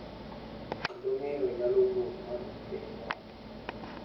Kendo ng’eyo nyalo wuok, ma dwoko piny ywak